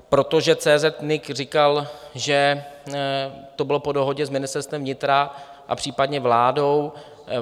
Protože CZ.NIC říkal, že to bylo po dohodě s Ministerstvem vnitra a případně vládou.